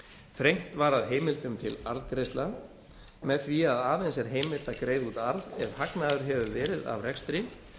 þrengt var að heimildum til arðgreiðslna með því að aðeins er heimilt að greiða út arð ef hagnaður hefur verið af rekstri